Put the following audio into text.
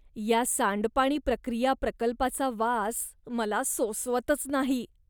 या सांडपाणी प्रक्रिया प्रकल्पाचा वास मला सोसवतच नाही.